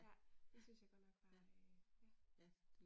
Ja. Det syntes jeg godt nok var øh ja